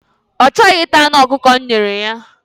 Ọ chọghị ịta anụ ọkụkọ m nyere ya.